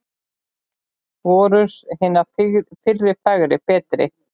Voru hinar fyrri fegri, betri?